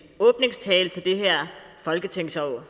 åbningstale til det her folketingsår